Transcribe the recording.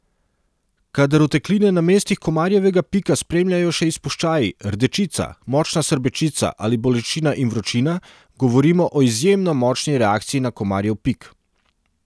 Kadar otekline na mestih komarjevega pika spremljajo še izpuščaji, rdečica, močna srbečica ali bolečina in vročina, govorimo o izjemno močni reakciji na komarjev pik.